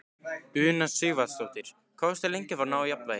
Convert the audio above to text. Una Sighvatsdóttir: Varstu lengi að ná jafnvægi?